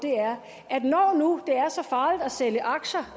er når nu det er så farligt at sælge aktier